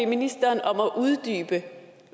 ministeren om at uddybe